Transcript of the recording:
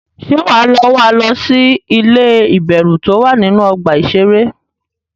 Ṣé wà á lọ wá lọ sí ilé ìbẹ̀rù tó wà nínú ọgbà iṣẹré?